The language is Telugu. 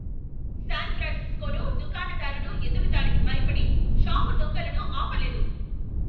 శాన్ ఫ్రాన్సిస్కోలో దుకాణదారుడు ఎదురుదాడికి భయపడి షాపు దొంగలను ఆపలేదు.